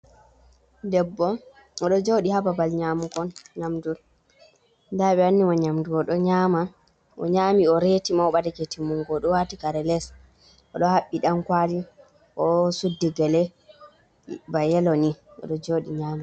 Debbo odo jodi ha babal nyamugo nyamdu da ɓe wanni mo nyamdu o nyami o reti ma oɓadake timmungo o do wati kare les o do habbi dankwali o suddi gele ba yeloni odo jodi nyama.